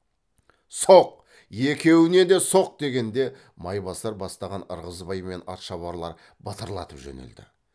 соқ екеуіне де соқ дегенде майбасар бастаған ырғызбай мен атшабарлар батырлатып жөнелді